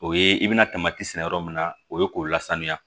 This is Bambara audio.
O ye i bɛna sɛnɛ yɔrɔ min na o ye k'o lasanuya